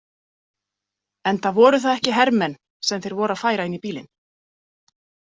Enda voru það ekki hermenn sem þeir voru að færa inn í bílinn.